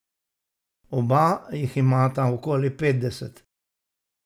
Oba jih imata okoli petdeset.